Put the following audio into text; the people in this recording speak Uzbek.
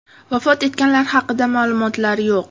Vafot etganlar haqida ma’lumot yo‘q.